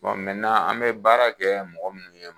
an bɛ baara kɛ mɔgɔ munnu ye